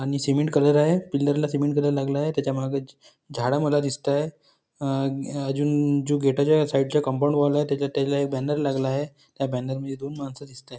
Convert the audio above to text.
आणि cement colour आहे pillar ला सिमेंट कलर लागला आहे त्याच्या माग ज झाडा मला दिसताय आ अ अजून जो गेट जो हाय साइड चा कंपाउंड वालाय त्याच्यात त्याला एक बॅनर लागलाय त्या बॅनर मध्ये दोंन मानस दिसत आहे.